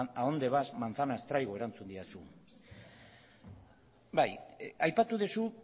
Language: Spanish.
adónde vas manzanas traigo erantzun didazu bai aipatu duzu